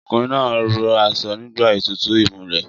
Ọkùnrin náà ró aṣọ nígbà ètùtù ìmulẹ̀